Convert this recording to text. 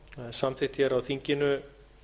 samþykkt hér á þinginu